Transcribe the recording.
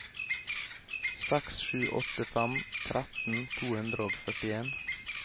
seks sju åtte fem tretten to hundre og førtien